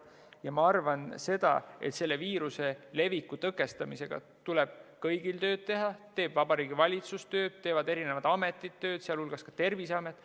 Ja ma arvan, et selle viiruse leviku tõkestamiseks tuleb kõigil tööd teha – teeb tööd Vabariigi Valitsus, teevad tööd erinevad ametid, sh Terviseamet.